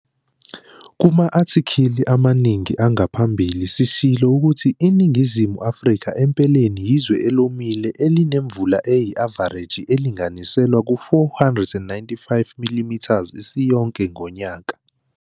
Kuma athikhili amaningi angaphambili sishilo ukuthi iNingizimu Afrika empeleni yizwe elomile elinemvula eyi-avareji elinganiselwa ku-495 mm isiyonke ngonyaka.